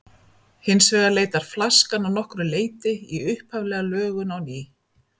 Hins vegar leitar flaskan að nokkru leyti í upphaflega lögun á ný.